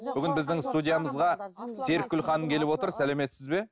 бүгін біздің студиямызға серікгүл ханым келіп отыр сәлеметсіз бе